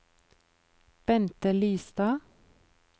Bente Lystad